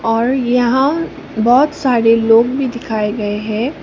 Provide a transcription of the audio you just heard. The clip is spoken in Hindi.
और यहां बहुत सारे लोग भी दिखाए गए है।